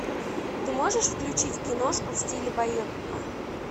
ты можешь включить киношку в стиле байопика